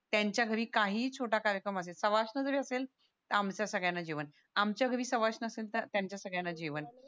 त्याच्या घरी काहीही छोटा कार्यक्रम असेल सवासण जरी असेल तर आमच्या सगळ्यांना जेवण आमच्या घरी सवासण असेल तर त्यांच्या सगळ्यांना जेवण